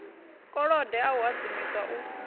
kolode a a hadzimiswa u